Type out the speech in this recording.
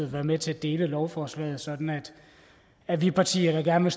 være med til at dele lovforslaget sådan at vi partier der gerne